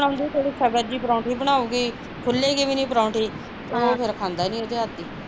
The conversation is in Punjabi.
ਸਖਤ ਜਹੀ ਬਣਾਊਗੀ ਖੁੱਲੇਗੀ ਵੀ ਨੀ ਪਰੋਂਠੀ ਅਹ ਉਹ ਫਿਰ ਖਾਂਦਾ ਨੀ ਉਹਦੇ ਹੱਥ ਦੀ